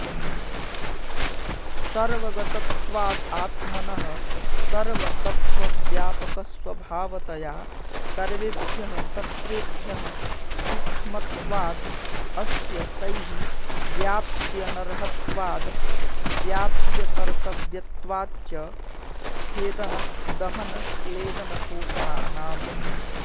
सर्वगतत्वाद् आत्मनः सर्वतत्त्वव्यापकस्वभावतया सर्वेभ्यः तत्त्वेभ्यः सूक्ष्मत्वात् अस्य तैः व्याप्त्यनर्हत्वाद् व्याप्यकर्तव्यत्वात् च छेदनदहनक्लेदनशोषणानाम्